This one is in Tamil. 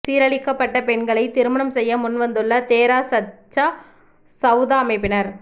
சீரழிக்கப்பட்ட பெண்களை திருமணம் செய்ய முன்வந்துள்ள தேரா சச்சா சவுதா அமைப்பினர்